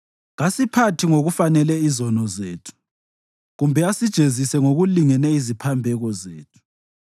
kasiphathi ngokufanele izono zethu kumbe asijezise ngokulingene iziphambeko zethu.